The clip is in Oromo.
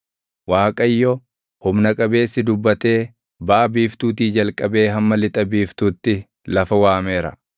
Waaqayyo, Humna Qabeessi dubbatee baʼa biiftuutii jalqabee hamma lixa biiftuutti lafa waameera.